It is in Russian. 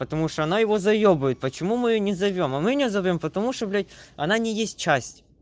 потому что она его заёбывает почему мы её не зовём а мы не зовём потому что блядь она не есть часть